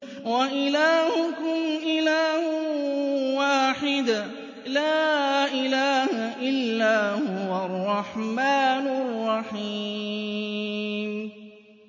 وَإِلَٰهُكُمْ إِلَٰهٌ وَاحِدٌ ۖ لَّا إِلَٰهَ إِلَّا هُوَ الرَّحْمَٰنُ الرَّحِيمُ